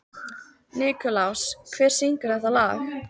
Nikulás, hver syngur þetta lag?